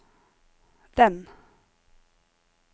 den